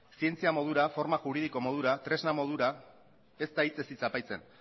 zientzia modura forma juridiko modura tresna modura ez da hitzez hitz aipatzen